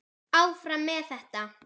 Áfram með þetta.